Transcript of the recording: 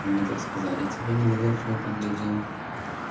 они так сказали тебе недоверчиво поглядел